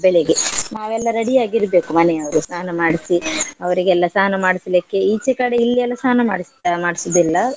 ಬೆಳಿಗ್ಗೆ ನಾವೆಲ್ಲ ready ಯಾಗಿರ್ಬೇಕು ಮನೆಯವ್ರು ಸ್ನಾನ ಮಾಡಿಸಿ ಅವ್ರಿಗೆಲ್ಲ ಸ್ನಾನ ಮಾಡಿಸ್ಲಿಕ್ಕೆ ಈಚೆ ಕಡೆ ಇಲ್ಲೆಲ್ಲ ಸ್ನಾನ ಮಾಡ್ಸ್~ ಮಾಡ್ಸುದಿಲ್ಲ.